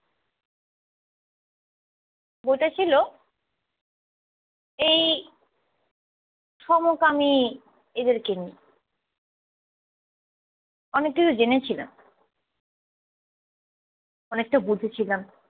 বইটা ছিল এই সমকামি এদেরকে নিয়ে অনেক কিছু জেনেছিলাম। অনেকটা বুঝেছিলাম।